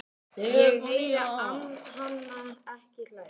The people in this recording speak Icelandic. Ég heyri hana ekki hlæja